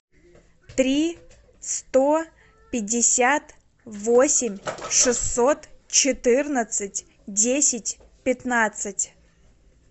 три сто пятьдесят восемь шестьсот четырнадцать десять пятнадцать